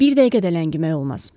Bir dəqiqə də ləngimək olmaz.